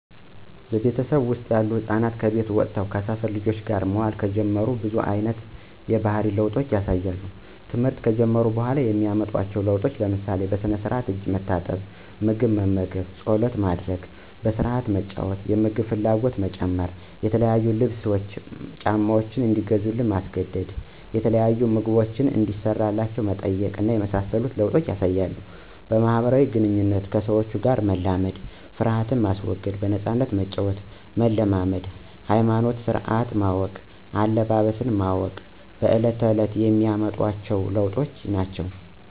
በቤተሰቤ ወስጥ ያሉ ህፃናት ከቤት ወጥተው ከሰፈር ልጆች ጋር መዋል ከጀመሩ ብዙ አይነት የባህሪ ለውጦች ያሳያሉ። ተምህርት ከጀመሩ በኋላ የሚያመጡት ለውጥ ለምሳሌ፦ በስነስራአት እጅ ታጥቦ ምግብ መመገብ፣ ፀሎት ማድረግ፣ በስረአት መጫዎት፣ የምግብ ፍላጎት መጨመር፣ የተለያዩ ልብስ፣ ጫማዎች እንዲገዙላቸው ማስገደድ፣ የተለያዩ ምግቦችን እንዲሰራላቸው መጠየቅ እና የመሳሰሉ ለወጦችን ያሳያሉ። በማህበራዊ ግንኙነቶች ከሰዎች ጋር የመላመድ፣ ሀፍረትን የማስወገድ፣ በነፃነት መጫወትን መልመድ ሀይማኖታዊ ስነስረአቶችን ማወቅ፣ አለባበስ ማወቅ በለት ተእለት የሚያመጧቸዎ ለዎጦች ናቸው።